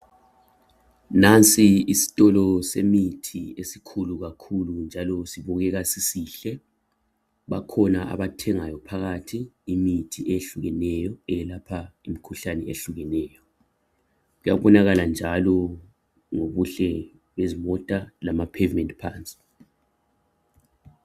nansi isitolo semithi njalo sibukeka sisihle bakhona abathengayo phakathi imithi ehlukeneyo eyelapha im ikhuhlane ehlukeneyo kuyabonaala njalo ngobuhle bezimota lama pavement paths